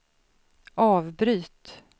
avbryt